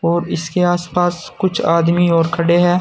और इसके आसपास कुछ आदमी और खड़े हैं।